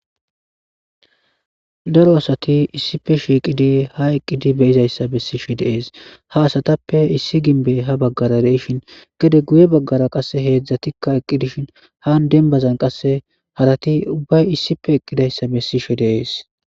daro asati issife shiiqidi ha eqqidi beyizayssa bessi shi deees ha asatappe issi ginbe ha baggara deishin gede guye baggara qasse heedzdzatikka eqqi dishin han denbazan qasse harati ubbay issipe eqqidayssa bessishe deees